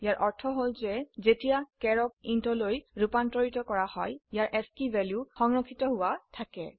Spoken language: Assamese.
ইয়াৰ অৰ্থ হল যে যেতিয়া চাৰ ক ইণ্ট ৰলৈ ৰুপান্তৰিত কৰা হয় ইয়াৰ আস্কী ভ্যালু সংৰক্ষিত হোৱা থাকে